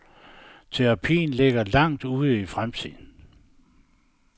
Terapien ligger langt ude i fremtiden.